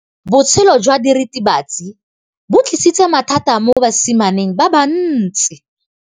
Botshelo jwa diritibatsi ke bo tlisitse mathata mo basimaneng ba bantsi.